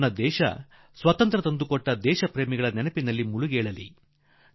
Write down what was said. ಇಡೀ ದೇಶ ಈ ಸ್ವಾತಂತ್ರ್ಯದ ಮಹಾನ್ ಚೇತನಗಳಿಂದ ರಂಗುರಂಗಾಗಿ ಚಿತ್ತಾರಗೊಳ್ಳಲಿ